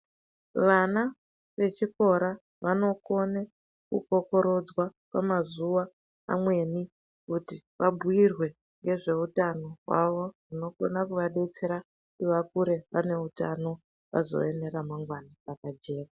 Vana vechikora vanokona kukokorodzwa pamazuwa amweni kuti vabhuyirwe ngezveutano hwawo zvinokona kuvadetsera kuti vakure vane utano vazove neramangwana rakajeka.